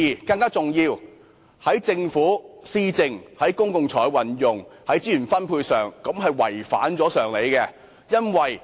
更重要的是，在政府施政、公共財政及資源分配方面，這建議違反常理。